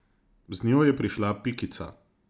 Z njo je prišla Pikica.